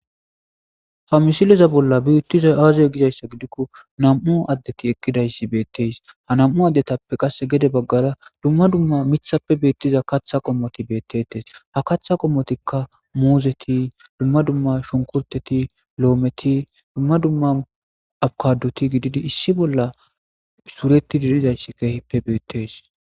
Ha misileza bolla biittiza aazey gizayssa gidikko nam'u addeti ekkidayssi beetteys ha nam'u addetappe qasse gede baggara dumma dumma mithappe beettiza katha qommoti beettetes ha katha qommotikka muuzeti dumma dumma shunkurteti lo'ometi dumma dumma abkadoti gididi issi bolla suureti diridayssi keheppe beettes.